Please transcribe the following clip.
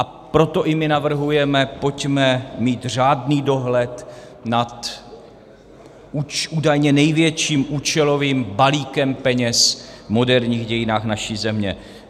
A proto i my navrhujeme, pojďme mít řádný dohled nad údajně největším účelovým balíkem peněz v moderních dějinách naší země.